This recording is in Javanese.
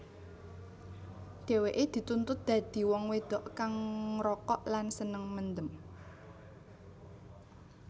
Dheweke dituntut dadi wong wedok kang ngrokok lan seneng mendem